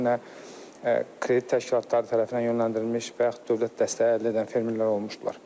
Bu nə kredit təşkilatları tərəfindən yönləndirilmiş və yaxud dövlət dəstəyi əldə edən fermerlər olmuşdular.